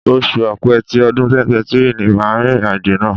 Oṣù Ọ̀pẹ tí ọdún 2023 ni màá rìnrìn àjò náà.